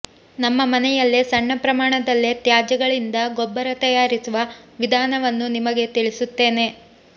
ನಮ್ಮ ಮನೆಯಲ್ಲೇ ಸಣ್ಣ ಪ್ರಮಾಣದಲ್ಲೇ ತ್ಯಾಜ್ಯಗಳಿಂದ ಗೊಬ್ಬರ ತಯಾರಿಸುವ ವಿಧಾನವನ್ನು ನಿಮಗೆ ತಿಳಿಸುತ್ತೇನೆ